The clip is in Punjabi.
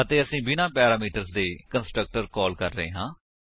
ਅਤੇ ਅਸੀ ਬਿਨਾਂ ਪੈਰਾਮੀਟਰਸ ਦੇ ਕੰਸਟਰਕਟਰ ਕਾਲ ਕਰ ਰਹੇ ਹਾਂ